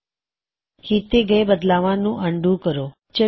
ਹੁਣ ਕੀੱਤੇ ਗਏ ਬਦਲਾਵਾਂ ਨੂੰ ਅਨਡੂ ਕਰਾਂਗੇ